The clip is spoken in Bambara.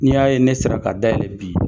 Ni y'a ye ne sera ka ka da yɛlɛ bi